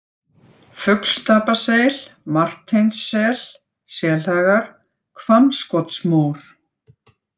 Fuglstapaseil, Marteinssel, Selhagar, Hvammskotsmór